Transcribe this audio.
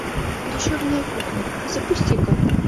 душевная кухня запусти ка